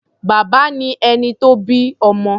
Bàbá ni ẹni tó bí ọmọ.